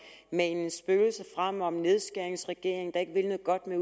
manen spøgelser frem om en nedskæringsregering der ikke vil noget godt med